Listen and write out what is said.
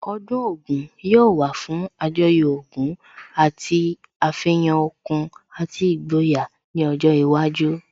Ọdún Ògún yóò wà fún Àjọyọ̀ ogún àti àfihàn okun àti ìgboyà ní ọjọ́ iwájú